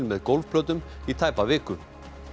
með gólfplötum í tæpa viku